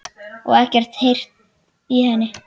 Og ekkert heyrt í henni?